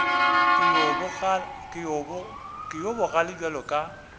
ke yo bogale bjalo ka